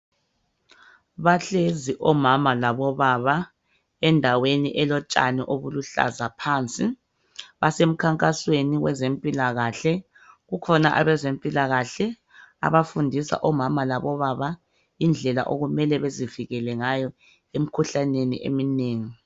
Bahlezi omama labobaba endaweni elotshani obuluhlaza phansi. Basemkhankasweni wezempilakahle, kukhona abezempilakahle abafundisa omama labobaba indlela okumele bezivikele ngayo emikhuhlaneni eminengi.